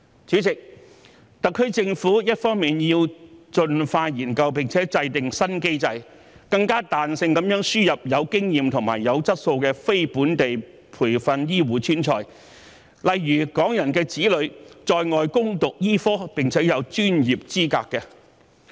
主席，特區政府一方面要盡快研究及制訂新機制，更彈性地輸入具經驗和具質素的非本地培訓醫護專才，例如在外攻讀醫科並獲得專業資格的港人子女。